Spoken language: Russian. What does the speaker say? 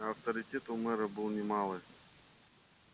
а авторитет у мэра был не малый